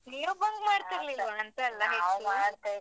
ನೀವು bunk ಮಾಡ್ತಿರ್ಲಿಲ್ವಾಂತ.